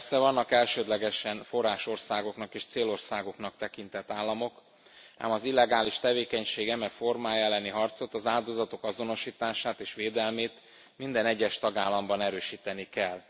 Persze vannak elsődlegesen forrásországoknak és célországoknak tekintett államok, ám az illegális tevékenység eme formája elleni harcot, az áldozatok azonosítását és védelmét, minden egyes tagállamban erősíteni kell.